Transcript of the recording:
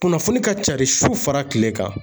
Kunnafoni ka cari su fara kile kan